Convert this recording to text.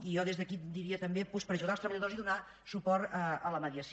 i jo des d’aquí diria també doncs per ajudar els treballadors i donar suport a la mediació